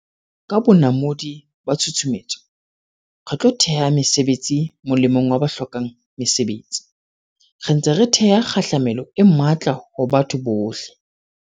Ka bonamodi ba tshusumetso, re tlo theha mesebetsi molemong wa ba hlokang mesebetsi, re ntse re theha kgahlamelo e matla ho batho bohle.